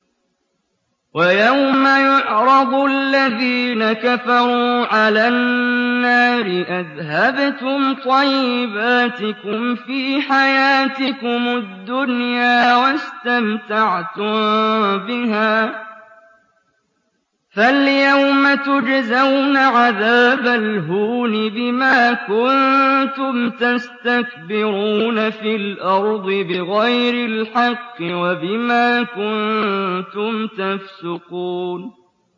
وَيَوْمَ يُعْرَضُ الَّذِينَ كَفَرُوا عَلَى النَّارِ أَذْهَبْتُمْ طَيِّبَاتِكُمْ فِي حَيَاتِكُمُ الدُّنْيَا وَاسْتَمْتَعْتُم بِهَا فَالْيَوْمَ تُجْزَوْنَ عَذَابَ الْهُونِ بِمَا كُنتُمْ تَسْتَكْبِرُونَ فِي الْأَرْضِ بِغَيْرِ الْحَقِّ وَبِمَا كُنتُمْ تَفْسُقُونَ